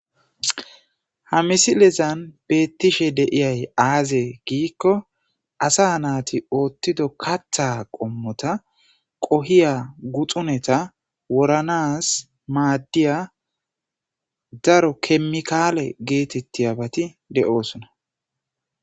Ha misilezan beeththishe de7iyay aazee giikko asaa naathi ooththido kaththaa qommotha qohiya guxunetha woranaas maaddiyaa daro keemikkaaletha geetheththiyaabathi de7oosona.